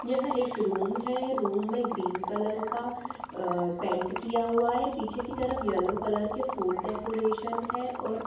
यह एक रूम है रूम में ग्रीन कलर का अ पेन्ट किया हुआ है पीछे की तरफ यलो कलर के फूल डेकोरेशन है और --